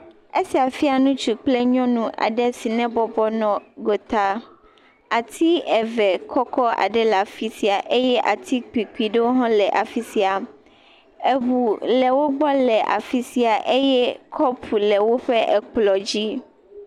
Esia fia ŋutsu kple nyɔnu aɖe yi ne bɔbɔ nɔ gota, ati eve kɔkɔ aɖe le afi sia eye ati kpikpui ɖewo hã le afi sia. Ŋu le wo gbɔ le afi sia eye kɔpu le woƒe kplɔ̃ dzi.